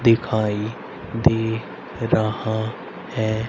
दिखाई दे रहा है।